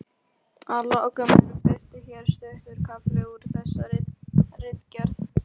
Að lokum er birtur hér stuttur kafli úr þessari ritgerð